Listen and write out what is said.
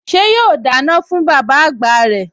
Ṣé yóò dáná fún bàbá àgbà rẹ̀?